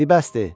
Di bəsdir!